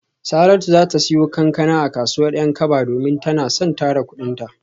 Saratu za ta siyo kankana a kasuwar Yankaba domin tana son tara kudinta.